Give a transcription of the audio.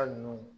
Hali n'u